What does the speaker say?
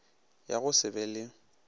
ya go se be le